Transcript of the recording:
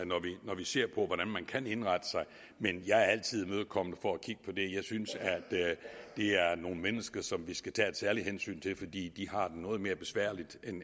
når vi ser på hvordan man kan indrette sig men jeg er altid imødekommende for at kigge på det jeg synes at det er nogle mennesker som vi skal tage et særligt hensyn til fordi de har det noget mere besværligt